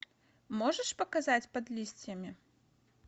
можешь показать под листьями